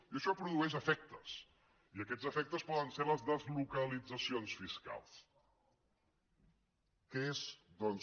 i això produeix efectes i aquests efectes poden ser les deslocalitzacions fiscals que és doncs